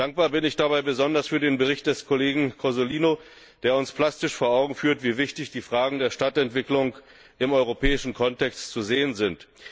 Dankbar bin ich dabei besonders für den Bericht des Kollegen Cozzolino, der uns plastisch vor Augen führt, wie wichtig die Fragen der Stadtentwicklung im europäischen Kontext sind.